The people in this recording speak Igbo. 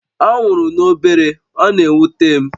Ọ nwụrụ n'obere, ọ na-ewute m